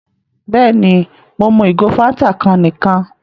Bẹ́ẹ̀ni, Mo mú igò Fántà kan níkan